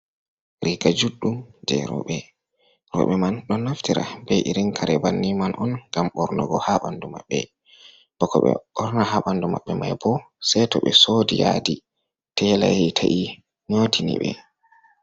Riga judɗum je reɓe. Roɓe man ɗo naftira be irin Kare banni man'on ngam Ɓornugo ha ɓandu mabɓe. Bako ɓe ɓorna ha ɓandu mabɓe mai bo sei to be Sodi yadi tela ta'i Nyotini ɓe.